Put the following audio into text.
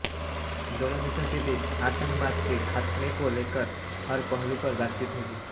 दोनों देशों के बीच आतंकवाद के खात्मे को लेकर हर पहलू पर बातचीत होगी